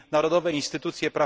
narodowe instytucje ds.